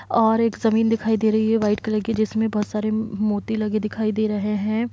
और एक जमीन दिखाई दे रही है व्हाइट कलर की जिसमे बहुत सारे मोती लगे दिखाई दे रहे है।